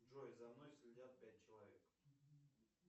джой за мной следят пять человек